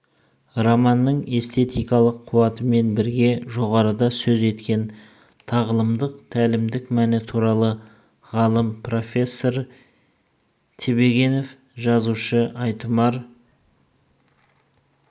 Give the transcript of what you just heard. романның эстетикалық қуатымен бірге жоғарыда сөз еткен тағылымдық тәлімдік мәні туралы ғалым профессор тебегенов жазушының айтұмар